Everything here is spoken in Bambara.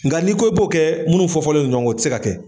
Nga n'i ko i b'o kɛ munnu fɔ fɔlen don ɲɔgɔn kɔ , o te se ka kɛ.